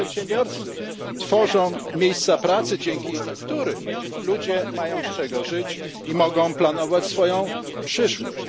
To przedsiębiorcy tworzą miejsca pracy, dzięki którym ludzie mają z czego żyć i mogą planować swoją przyszłość.